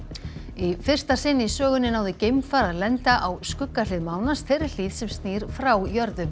í fyrsta sinn í sögunni náði geimfar að lenda á skugga hlið mánans þeirri hlið sem snýr frá jörðu